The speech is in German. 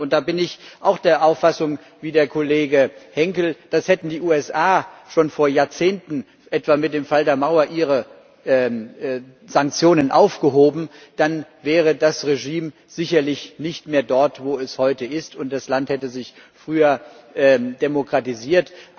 Da bin ich auch der Auffassung wie der Kollege Henkel Hätten die USA schon vor Jahrzehnten etwa mit dem Fall der Mauer ihre Sanktionen aufgehoben, dann wäre das Regime sicherlich nicht mehr dort, wo es heute ist, und das Land hätte sich früher demokratisiert.